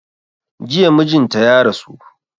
Jiya mijinta ya rasu